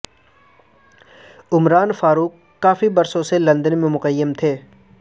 عمران فاروق کافی برسوں سے لندن میں مقیم تھے